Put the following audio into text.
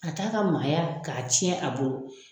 A t'a ka maaya k'a cɛn a bolo.